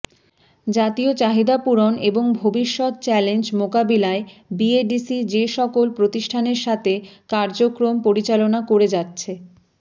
জাতীয় চাহিদা পূরণ এবং ভবিষ্যত চ্যালেঞ্জ মোকাবেলায় বিএডিসি যেসকল প্রতিষ্ঠানের সাথে কার্যক্রম পরিচালনা করে যাচ্ছেঃ